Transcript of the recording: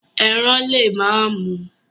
Eran le ma mu